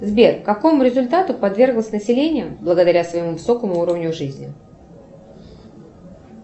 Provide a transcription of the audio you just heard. сбер какому результату подверглось население благодаря своему высокому уровню жизни